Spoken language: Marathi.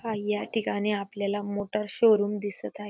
आणि या ठिकाणी आपल्याला मोटार शोरूम दिसत आहे.